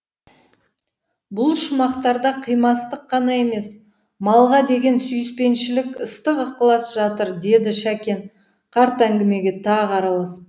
бұл шумақтарда қимастық қана емес малға деген сүйіспеншілік ыстық ықылас жатыр деді шәкен қарт әңгімеге тағы араласып